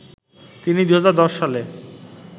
তিনি ২০১০ সালে